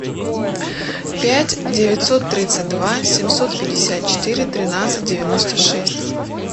пять девятьсот тридцать два семьсот пятьдесят четыре тринадцать девяносто шесть